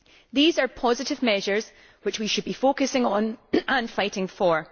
These are positive measures which we should be focusing on and fighting for.